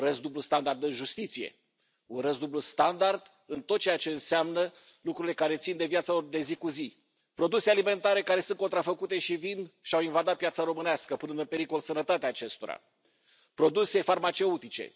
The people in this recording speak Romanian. Urăsc dublul standard în justiție. Urăsc dublul standard în tot ceea ce înseamnă lucrurile care țin de viața lor de zi cu zi produse alimentare care sunt contrafăcute și vin și au invadat piața românească, punând în pericol sănătatea acestora, produse farmaceutice.